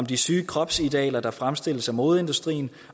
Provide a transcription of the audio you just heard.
de syge kropsidealer der fremstilles af modeindustrien